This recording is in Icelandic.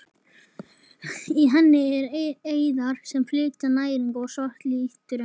Í henni eru æðar sem flytja næringu og svart litarefni.